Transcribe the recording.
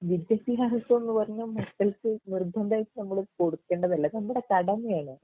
വിദ്യാഭ്യാസമെന്ന് പറഞ്ഞാൽ മക്കൾക്ക് നിർബന്ധമായിട്ടും നമ്മള് കൊടുക്കേണ്ടതല്ലേ അത് നമ്മടെ കടമയാണ്